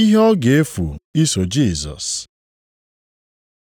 Ihe ọ ga-efu iso Jisọs